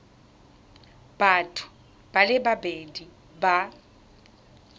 batho ba le babedi ba